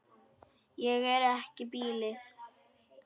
Ég er ekki blíð.